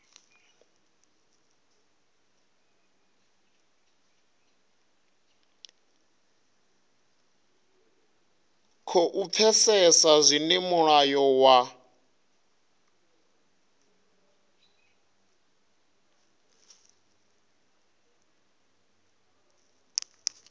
khou pfesesa zwine mulayo wa